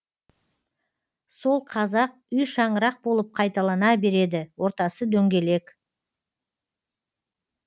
сол қазақ үй шаңырақ болып қайталана береді ортасы дөңгелек